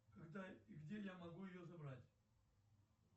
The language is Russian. когда и где я могу ее забрать